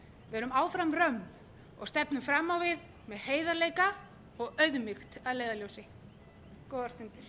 verum áfram og stefnum fram á við með heiðarleika og auðmýkt að leiðarljósi góðar stundir